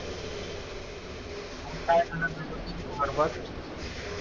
काय